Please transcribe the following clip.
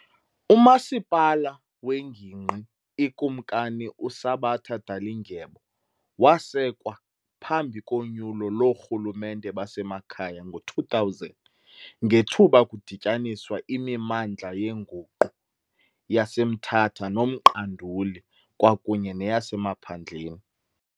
UMasipala wengingqi iKumkani uSabata Dalindyebo wasekwa phambi konyulo loorhulumente basemakhaya ngo2000 ngethuba kudityaniswa imimandla yenguqu yaseMthatha noMqanduli kwakunye neyasemaphandleni.